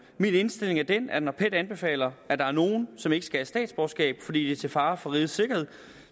indstilling er den at når pet anbefaler at der er nogen som ikke skal have statsborgerskab fordi de er til fare for rigets sikkerhed